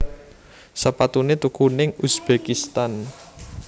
Sepatune tuku ning Uzbekistan